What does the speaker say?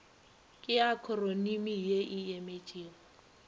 ke akhronimi ye e emetšego